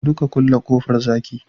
gudu ka kulle kofar zaki